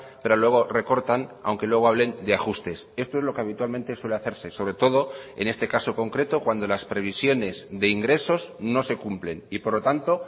pero luego recortan aunque luego hablen de ajustes esto es lo que habitualmente suele hacerse sobre todo en este caso concreto cuando las previsiones de ingresos no se cumplen y por lo tanto